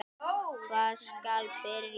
Hvar skal byrja?